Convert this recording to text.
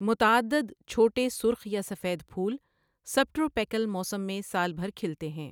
متعدد چھوٹے سرخ یا سفید پھول سبٹروپیکل موسم میں سال بھر کھلتے ہیں ۔